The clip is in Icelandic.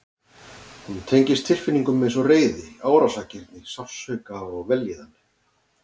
Hún tengist tilfinningum eins og reiði, árásargirni, sársauka og vellíðan.